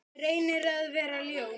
Reynir að vera ljón.